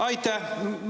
Aitäh!